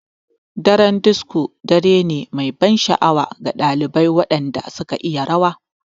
Daren disco dare ne mai ban sha'awa ga ɗalibai waɗanda suka iya rawa.